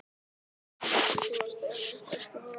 Gamli minn, þú ert einmitt rétti maðurinn.